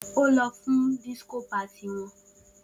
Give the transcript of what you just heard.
O si lọ fun won disco party